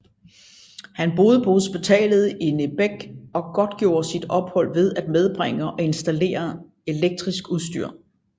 Han boede på hospitalet i Nebek og godtgjorde sit ophold ved at medbringe og installere elektrisk udstyr